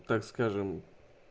так скажем